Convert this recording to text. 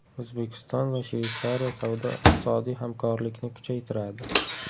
O‘zbekiston va Shveysariya savdo-iqtisodiy hamkorlikni kuchaytiradi.